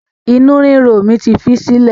Inu ríro mi ti fi í sílẹ̀